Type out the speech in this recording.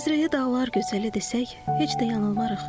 Məzrəyə dağlar gözəli desək, heç də yanılmarıq.